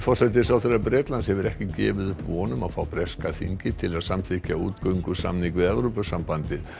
forsætisráðherra Bretlands hefur ekki gefið upp von um að fá breska þingið til að samþykkja útgöngusamning við Evrópusambandið